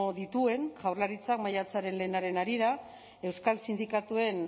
dituen jaurlaritzak maiatzaren lehenaren harira euskal sindikatuen